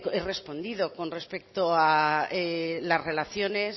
he respondido con respecto a las relaciones